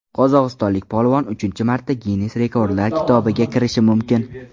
Qozog‘istonlik polvon uchinchi marta Ginnes rekordlar kitobiga kirishi mumkin.